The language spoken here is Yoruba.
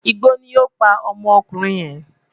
Igbó ni ó pa ọmọkùnrin yẹn